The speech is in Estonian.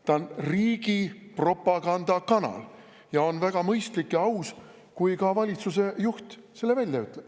See on riigi propagandakanal ja on väga mõistlik ja aus, kui ka valitsuse juht selle välja ütleb.